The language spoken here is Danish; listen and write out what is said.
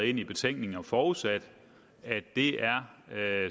ind i betænkningen og forudsat at det er